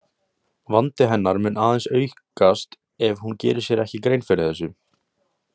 Vandi hennar mun aðeins aukast ef hún gerir sér ekki grein fyrir þessu.